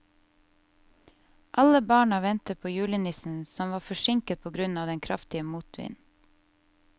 Alle barna ventet på julenissen, som var forsinket på grunn av den kraftige motvinden.